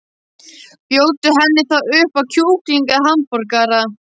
Bjóddu henni þá upp á kjúkling eða hamborgara.